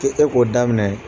i k'o dɔ daminɛ